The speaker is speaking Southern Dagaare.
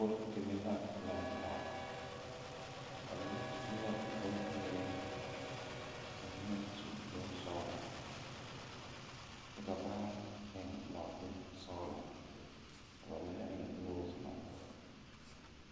Kuore deme la laŋ taa ba mine su la bonzeere ka ba mine su bonsɔglɔ kyɛ ka ba eŋ nɔɔte sɔglɔ ka ba mine eŋ noosemak.